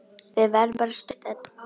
Við verðum bara stutt, Edda.